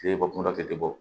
Kile bɔ kuma dɔ tɛ bɔ